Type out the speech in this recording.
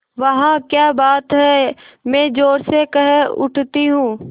वाह क्या बात है मैं ज़ोर से कह उठती हूँ